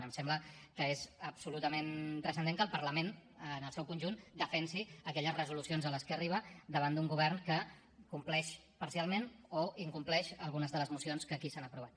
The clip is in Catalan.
em sembla que és absolutament transcendent que el parlament en el seu conjunt defensi aquelles resolucions a les que arriba davant d’un govern que compleix parcialment o incompleix algunes de les mocions que aquí s’han aprovat